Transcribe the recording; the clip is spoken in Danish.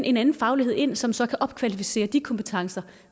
en anden faglighed ind som så kan opkvalificere de kompetencer